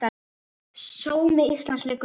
Sómi Íslands liggur við.